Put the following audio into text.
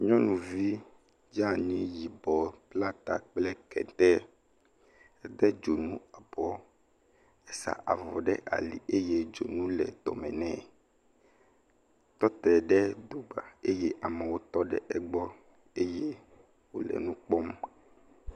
Nyɔnuvi dzaa ni yibɔ bla ta kete, ede dzonu abɔɔ, esa avɔ ɖe ali eye dzonu le dɔme nɛ etɔ te ɖe gota eye amewo ɖe egbɔ. Eye wòle nu kpɔm.